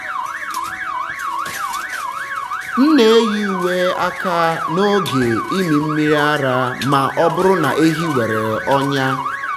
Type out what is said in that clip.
m na-eyi uwe aka n’oge ịmị mmiri ara ma ọ bụrụ na ehi nwere ọnya.